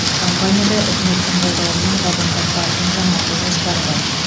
компанияда үкіметтің қолдауымен вагондар паркін жаңарту жоспары бар